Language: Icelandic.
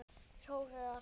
Fjórir eða fimm!